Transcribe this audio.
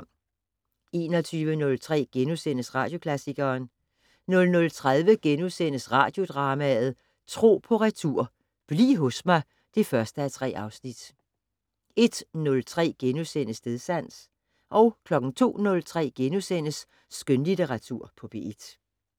21:03: Radioklassikeren * 00:30: Radiodrama: Tro på retur: Bliv hos mig (1:3)* 01:03: Stedsans * 02:03: Skønlitteratur på P1 *